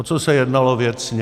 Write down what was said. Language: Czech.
O co se jednalo věcně.